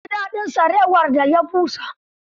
Sun ji daɗin sarewar da ya busa.